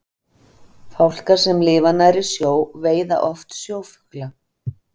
Fálkar sem lifa nærri sjó veiða oft sjófugla.